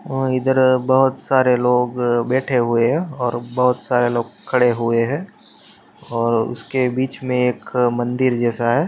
और इधर बहुत सारे लोग बैठे हुए है। और बहुत सारे लोग खड़े हुए है । और उसके बीच मे एक मन्दिर जैसा है।